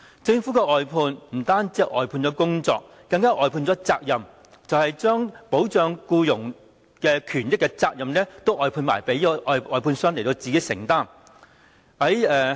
政府的外判，不單是外判了工作，更外判了責任，將保障僱傭權益的責任都外判給外判商自行承擔。